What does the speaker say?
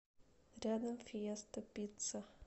рядом фиеста пицца